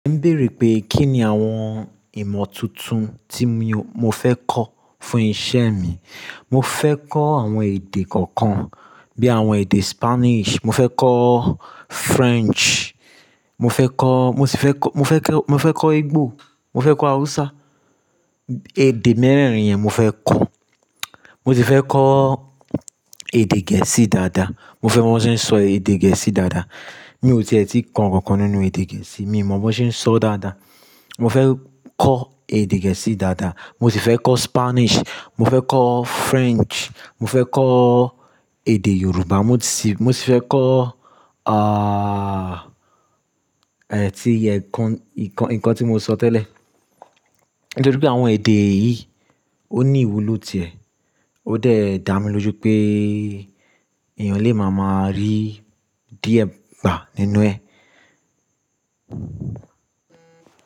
Èmi ń béèrè pé kí ni àwọn ìmọ̀ tuntun tí mo fẹ́ kọ́ fún iṣẹ́ mi. Mo fẹ́ kọ́ àwọn èdè kọ̀ọ̀kan bí i àwọn èdè Spanish, mo fẹ́ kọ́ French, mo fẹ́ kọ́, mo sì fẹ́ kọ́, mo fẹ́ kọ́, mo fẹ́ kọ́ Ìgbò, mo fẹ́ kọ́ Hausa. Èdè mẹ́rẹ̀ẹ̀rin yẹn mo fẹ́ kọ́. Mo sì fẹ́ kọ́ èdè Gẹ̀ẹ́sì dáadáa. Mo fẹ́ mọ́n bì wan se sọ èdè Gẹ̀ẹ́sì dáadáa. Mi ò ti è tí kan nkankan nínú èdè Gẹ̀ẹ́sì, mi ò mọ̀ bó ṣé ń sọ dáadáa. Mo fẹ́ kọ́ èdè Gẹ̀ẹ́sì dáadáa. Mo sì fẹ́ kọ́ Spanish, mo fẹ́ kọ́ French, mo fẹ́ kọ́ èdè Yorùbá, mo sì, mo sì fẹ́ kọ́, ah, eh, tí iye nǹkan, nǹkan, nǹkan tí mo sọ tẹ́lẹ̀. Nitori pé àwọn èdè yìí ó ní ìwúlò ti ẹ̀. Ó dà mí lójo pé èèyàn lè máa máa rí DM gbà nínú ẹ.